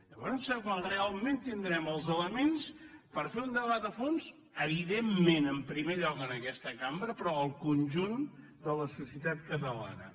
llavors serà quan realment els elements per fer un debat a fons evidentment en primer lloc en aquest cambra però el conjunt de la societat catalana